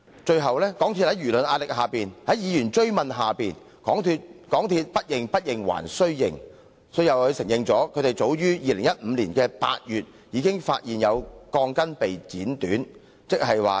最後，港鐵公司在輿論壓力及議員追問下，才"不認不認還須認"，承認早於2015年8月已發現有鋼筋被剪短。